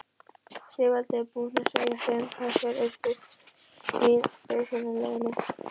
Sigvaldi var búinn að segja þeim hverjir yrðu í byrjunarliðinu.